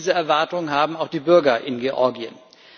Diese Erwartungen haben auch die Bürger in Georgien.